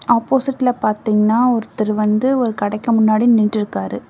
ஆப்போசிட்ல பாத்திங்கன்னா ஒருத்தர் வந்து ஒரு கடைக்கு முன்னாடி நின்ட்டுருக்காரு.